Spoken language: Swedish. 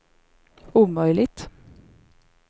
omöjligt